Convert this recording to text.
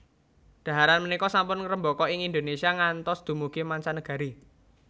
Dhaharan punika sampun ngrembaka ing Indonésia ngantos dumugi mancanegari